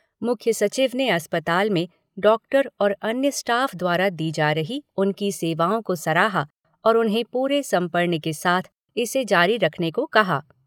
मुख्य सचिव ने अस्पताल में डॉक्टर और अन्य स्टाफ़ द्वारा दी जा रही उनकी सेवाओं को सराहा और उन्हें पूरे समर्पण के साथ इसे जारी रखने को कहा।